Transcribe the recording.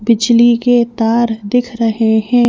बिजली के तार दिख रहे हैं।